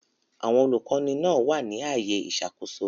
Àwọn olùkọ́ni náà wà ní ààyè ìṣàkóso.